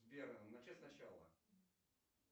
сбер начать сначала